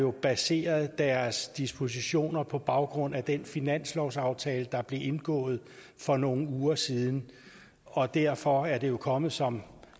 har baseret deres dispositioner på baggrund af den finanslovsaftale der blev indgået for nogle uger siden og derfor er det jo kommet som